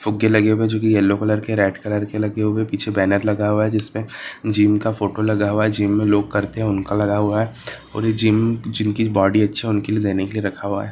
फुग्गे लगे हुए है जो कि येल्लो कलर के रेड कलर लगे हुए है पीछे बैनर लगा हुआ है जिस पे जिम का फोटो लगा हुआ है जिम में लोग करते है उनका लगा हुआ है और जो जिम करते है जिनकी बॉडी अच्छी है उनको देने के लिए रखा हुआ है।